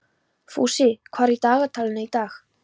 Fúsi, hvað er í dagatalinu í dag?